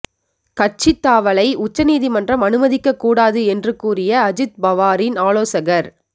கட்சித் தாவலை உச்ச நீதிமன்றம் அனுமதிக்கக் கூடாது என்று கூறிய அஜித் பவாரின் ஆலோசகர்